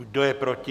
Kdo je proti?